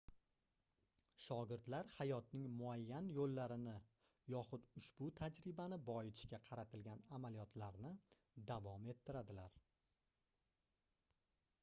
shogirdlar hayotning muayyan yoʻllarini yoxud ushbu tajribani boyitishga qaratilgan amaliyotlarni davom ettiradilar